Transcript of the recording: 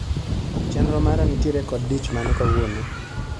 Chenro mara nitiere kod dich mane kawuono